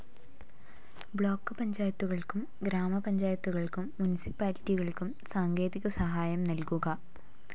Block പഞ്ചായത്തുകൾക്കും ഗ്രാമപഞ്ചായത്തുകൾക്കും മുനിസിപ്പാലിറ്റികൾക്കും സാങ്കേതിക സഹായം നൽകുക.